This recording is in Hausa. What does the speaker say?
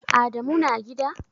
Adamu na gida?